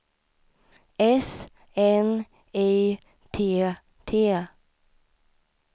S N I T T